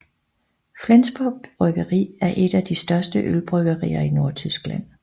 Flensborg Bryggeri er et af de største ølbryggerier i Nordtyskland